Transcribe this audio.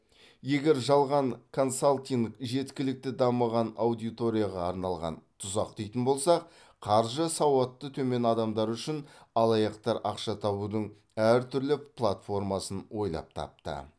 егер жалған консалтинг жеткілікті дамыған аудиторияға арналған тұзақ дейтін болсақ қаржы сауатты төмен адамдар үшін алаяқтар ақша табудың әртүрлі платформасын ойлап тапты